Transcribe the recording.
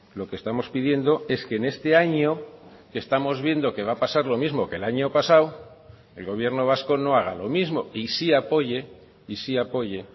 lo que estamos pidiendo es que en este año que estamos viendo que va a pasar lo mismo que el año pasado el gobierno vasco no haga lo mismo y sí apoye y sí apoye